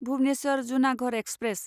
Bhubaneswar Junagarh express